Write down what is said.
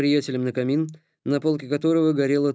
приятеля на камин на полке которого горела